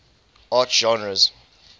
art genres